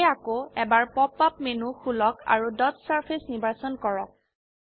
সেয়ে আকৌ এবাৰ পপ আপ মেনু খুলক আৰু ডট সাৰফেস নিৰ্বাচন কৰক